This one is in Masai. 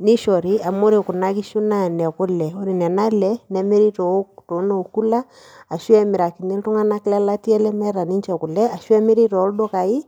nishori amu ore kuna kishu naa inekule ore nena ale nemiri too noo cooler ashu emirakini iltung'anak le latia lemeeta ninche kule ashu emiri toldukai